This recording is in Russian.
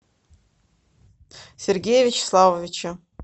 сергея вячеславовича